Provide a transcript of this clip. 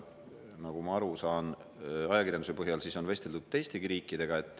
Nagu ma ajakirjanduse põhjal aru olen saanud, vesteldud on teistegi riikidega.